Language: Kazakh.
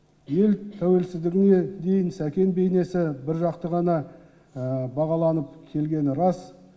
ел тәуелсіздігіне дейін сәкен бейнесі біржақты ғана бағаланып келгені рас